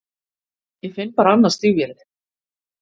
Ég finn bara annað stígvélið.